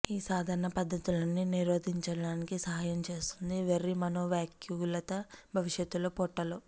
ఈ సాధారణ పద్ధతులన్నీ నిరోధించడానికి సహాయం చేస్తుంది వెర్రి మనోవ్యాకులత భవిష్యత్తులో పొట్టలో